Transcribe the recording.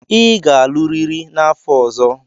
Ị ga-alụrịrị n'afọ ọzọ.